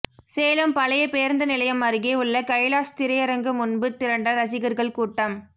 சேலம் பழைய பேருந்து நிலையம் அருகே உள்ள கைலாஷ் திரையரங்கு முன்பு திரண்ட ரசிகர்கள் கூட்டம்